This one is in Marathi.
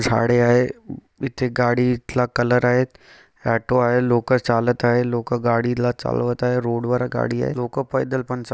झाडे आहे इथे गाडीतला कलर आहेत ऑटो आहे लोक चालत आहे लोक गाडीला चालवत आहे रोडवर गाडी आहे लोक पैदल पण चा--